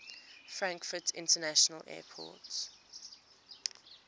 frankfurt international airport